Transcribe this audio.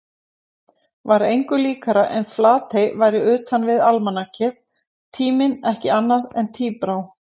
Var engu líkara en Flatey væri utanvið almanakið, tíminn ekki annað en tíbrá.